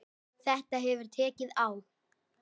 Þetta hefur tekið á.